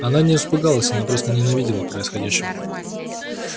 она не испугалась она просто нена видела происходящего